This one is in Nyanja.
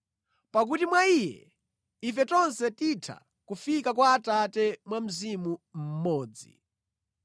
Pakuti mwa Iye, ife tonse titha kufika kwa Atate mwa Mzimu mmodzi.